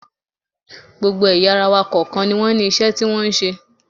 Gbogbo ẹ̀yà ara wa kọ̀ọ̀kan ni wọ́n ní iṣẹ́ tí wọ́n ń ṣe